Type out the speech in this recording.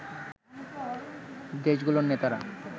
দেশগুলোর নেতারা